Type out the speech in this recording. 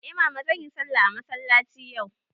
Eh mama, zanyi sallah a masallaci yau.